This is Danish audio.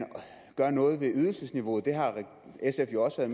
gør noget ved ydelsesniveauet det har sf jo også